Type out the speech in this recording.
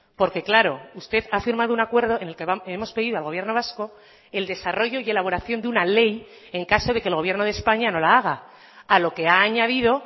porque claro usted ha firmado un acuerdo en el que hemos pedido al gobierno vasco el desarrollo y elaboración de una ley en caso de que el gobierno de españa no la haga a lo que ha añadido